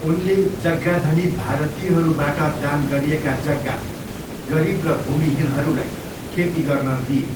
उनले जग्गाधनी भारतीयहरूबाट दान गरिएका जग्गा गरिब र भूमिहीनहरूलाई खेती गर्न दिए।